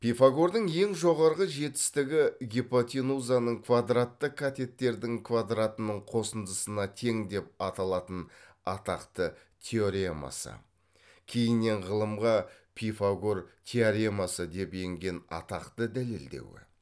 пифагордың ең жоғарғы жетістігі гипотенузаның квадратты катеттердің квадартының қосындысына тең деп аталатын атақты теоремасы кейіннен ғылымға пифагор теоремасы деп енген атақты дәлілдеуі